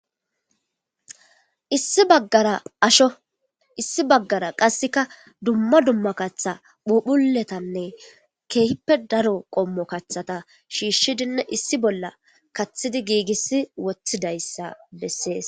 Issi bagara asho issi bagara kaseka duma duma katha phuphuletane keehipe daro qomo kathata shiishidine issipe bolla kathidi giigisi wothidaysa beses.